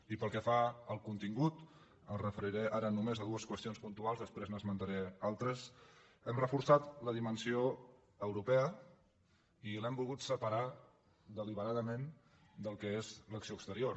i pel que fa al contingut em referiré ara només a dues qüestions puntuals després n’esmentaré altres hem reforçat la dimensió europea i l’hem volgut separar deliberadament del que és l’acció exterior